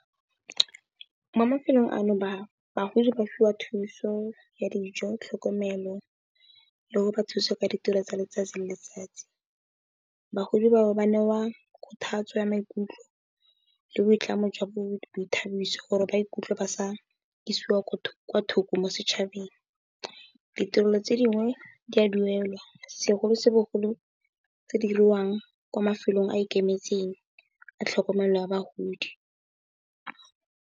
Mo mafelong ano bagodi ba fiwa thuso ya dijo, tlhokomelo le go ba thusa ka ditiro tsa letsatsi le letsatsi. Bagodi ba bo ba newa kgothatso ya maikutlo le boitlamo jwa boithabiso gore ba ikutlwe ba sa isiwa kwa thoko mo setšhabeng. Ditirelo tse dingwe di a duelwa segolobogolo tse di diriwang kwa mafelong a ikemetseng a tlhokomelo ya bagodi.